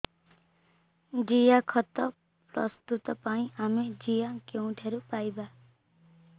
ଜିଆଖତ ପ୍ରସ୍ତୁତ ପାଇଁ ଆମେ ଜିଆ କେଉଁଠାରୁ ପାଈବା